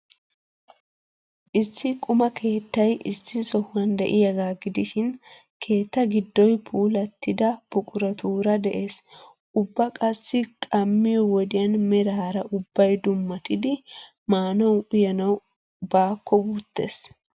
Issi quma keettay issi sohuwan de'iyaagaa gidishin, keetta giddoy puulaatida buquratuura de'ees. Ubba qassi qammiyoo wodiyan meraara ubbay dummatidi maanawu uyanawu baakko wuttees.